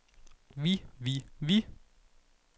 vi vi vi